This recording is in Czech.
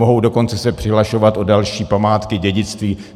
Mohou dokonce se přihlašovat o další památky, dědictví.